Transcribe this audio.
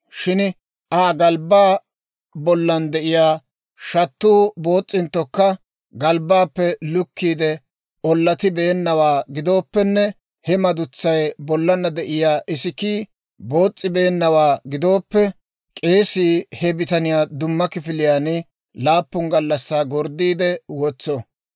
Shin Aa galbbaa bollan de'iyaa shattuu boos's'inttokka, galbbaappe lukkiide ollatibeennawaa gidooppenne he madutsaa bollan de'iyaa isikkii boos's'ibeennawaa gidooppe, k'eesii he bitaniyaa dumma kifiliyaan laappun gallassaa gorddiide wotso.